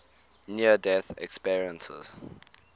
near death experiences